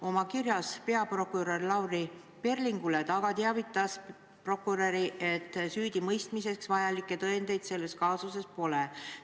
Oma kirjas peaprokurör Lavly Perlingule ta teavitas aga peaprokuröri, et süüdimõistmiseks vajalikke tõendeid selles kaasuses pole.